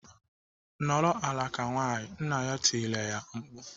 "Nọrọ ala ka nwaanyị!" Nna ya tirile ya mkpu.